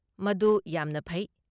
ꯃꯗꯨ ꯌꯥꯝꯅ ꯐꯩ꯫